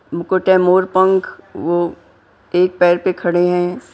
मुकोट मोर पंख वह एक पैर पे खड़े हैं।